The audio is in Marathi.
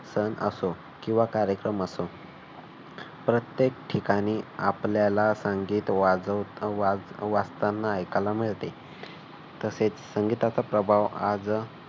सण असो किंवा कार्यक्रम असो प्रत्येक ठिकाणी आपल्याला संगीत वाजव अह वाजताना ऐकायला मिळते. तसेच संगीताचा प्रभाव आज